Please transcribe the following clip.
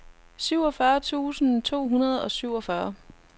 syvogfyrre tusind to hundrede og syvogfyrre